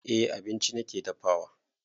Eh abinci nake dafawa